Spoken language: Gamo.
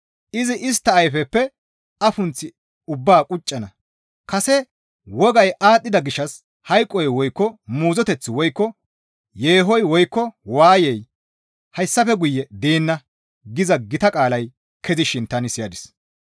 Izi istta ayfeppe afunth ubbaa quccana; kase wogay aadhdhida gishshas hayqoy woykko muuzoteththi woykko yeehoy woykko waayey hayssafe guye deenna» giza gita qaalay kezishin tani siyadis.